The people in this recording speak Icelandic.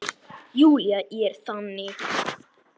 Júlía er þannig.